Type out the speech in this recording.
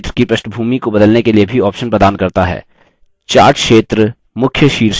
calc chart क्षेत्र की पृष्ठभूमि को बदलने के लिए भी option प्रदान करता है